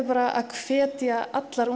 að hvetja allar